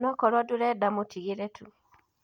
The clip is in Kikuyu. Onokoro ndũrenda mũtĩgĩre tu.